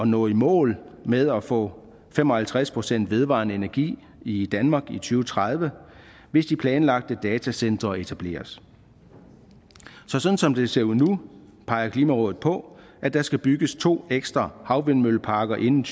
nå i mål med at få fem og halvtreds procent vedvarende energi i danmark i to tredive hvis de planlagte datacentre etableres så sådan som det ser ud nu peger klimarådet på at der skal bygges to ekstra havvindmølleparker inden